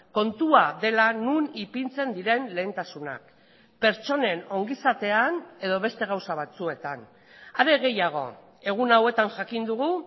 kontua dela non ipintzen diren lehentasunak pertsonen ongizatean edo beste gauza batzuetan are gehiago egun hauetan jakin dugu